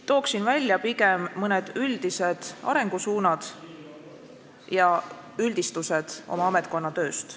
Tooksin pigem välja mõned üldised arengusuunad ja üldistused oma ametkonna tööst.